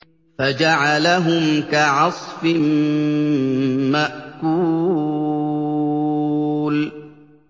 فَجَعَلَهُمْ كَعَصْفٍ مَّأْكُولٍ